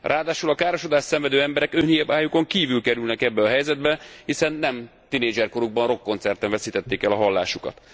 Ráadásul a károsodást szenvedő emberek önhibájukon kívül kerülnek ebbe a helyzetbe, hiszen nem tinédzserkorukban rockkoncerten veszítették el a hallásukat.